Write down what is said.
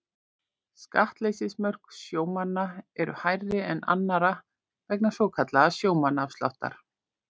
Skattleysismörk sjómanna eru hærri en annarra vegna svokallaðs sjómannaafsláttar.